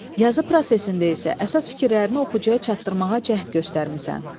Yazı prosesində isə əsas fikirlərini oxucuya çatdırmağa cəhd göstərmisən.